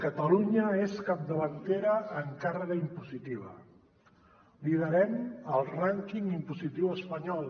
catalunya és capdavantera en càrrega impositiva liderem el rànquing impositiu espanyol